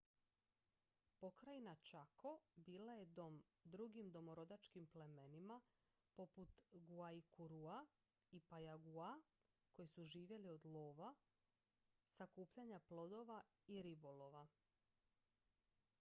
pokrajina chaco bila je dom drugim domorodačkim plemenima poput guaycurúa i payaguá koji su živjeli od lova sakupljanja plodova i ribolova